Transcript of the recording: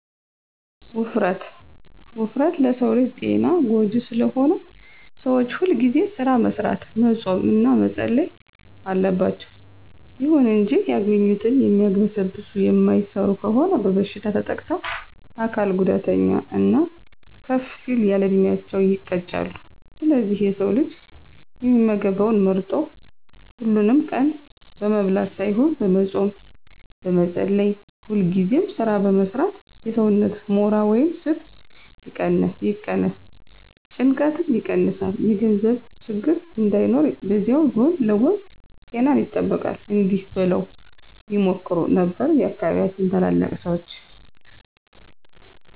ውፍረት፦ ውፍረት ለሰው ልጅ ጤና ጎጂ ስለሆነ ሰዎች ሁልጊዜ ስራ መስራት፣ መፆም እና መፀለይ አለባቸው። ይሁን እንጂ ያገኙትን የሚያግበሰብሱ የማይሰሩ ከሆኑ በበሽታ ተጠቅተው የአካል ጉዳተኛ እና ከፍ ሲል ያለዕድሜያቸው ይቀጫሉ። ስለዚህ የሰው ልጅ የሚመገበውን መርጦ፣ ሀሉንም ቀን በመብላት ሳይሆን በመፆም፣ በመፀለይ፣ ሁልጊዜ ስራ በመስራት የሰውነትን ሞራ ወይም ስብ ይቀነስ፣ ጭንቀትን ይቀንሳል፣ የገንዘብ ችግር እንዳይኖር በዚያዉ ጎን ለጎን ጤናን ይጠብቃል። እዲህ በለዉ ይመክሩ ነበር የአካባቢያችን ታላላቅ ሰዎች።